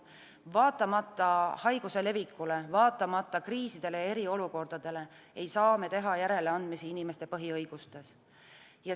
Vaatamata haiguse levikule, vaatamata kriisidele ja eriolukordadele ei saa me teha järeleandmisi inimeste põhiõigustes.